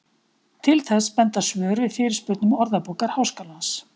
Til þess benda svör við fyrirspurnum Orðabókar Háskólans.